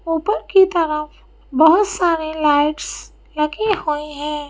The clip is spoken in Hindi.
ऊपर की तरफ बहुत सारे लाइट्स लगी हुई हैं।